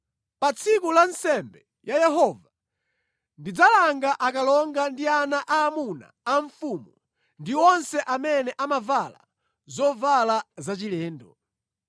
Pa tsiku la nsembe ya Yehova ndidzalanga akalonga ndi ana aamuna a mfumu ndi onse amene amavala zovala zachilendo.